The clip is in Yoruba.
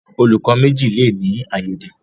Olùkó méjì le ní aiyede.